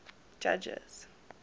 judges